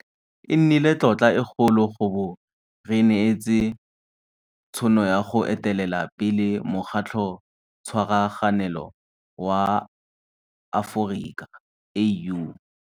E nnile tlotla e kgolo go bo re neetswe tšhono ya go etelela pele Mokgatlhotshwaraganelo wa Aforika, AU.